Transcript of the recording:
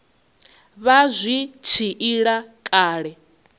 vha zwi tshi ila kale